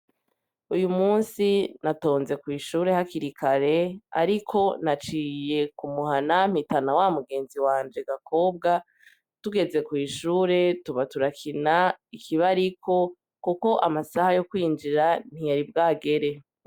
Uy' umunsi natonze kw'ishure hakirikare ,ariko naciye k'umuhana mpitana wa mugenzi wanje Gakobwa, tugeze kw' ishure tuba turakina ikibariko ,kuko amasaha yo kwinjira ntiyari bwagere.